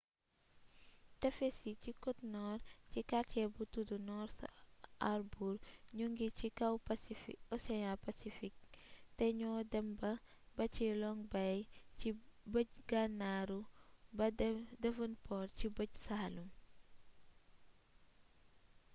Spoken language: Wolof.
tefes yi ci côte-nord ci quartier bu tuddu north harbour ñu ngi ci kaw océan pacifique te ñoo dem ba ci long bay ci bëj gànnaaru ba devonport ci bëj saalum